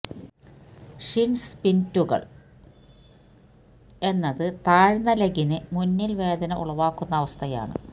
shin സ്പിൻറ്റുകൾ എന്നത് താഴ്ന്ന ലെഗലിന് മുന്നിൽ വേദന ഉളവാക്കുന്ന അവസ്ഥയാണ്